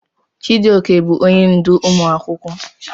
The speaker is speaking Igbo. Chijioke bụ onye ndú ụmụ akwụkwọ.